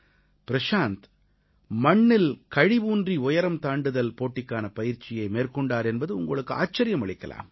பிரஷாந்த் மண்ணில் கழி ஊன்றி உயரம் தாண்டுதல் போட்டிக்கான பயிற்சியை மேற்கொண்டார் என்பது உங்களுக்கு ஆச்சரியமளிக்கலாம்